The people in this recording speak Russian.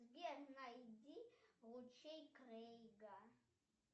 сбер найди лучей крейга